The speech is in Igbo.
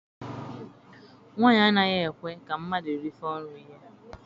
Nwaanyi a anaghị ekwe ka mmadụ rifọ nri ya.